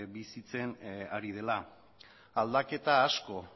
bizitzen ari dela aldaketa asko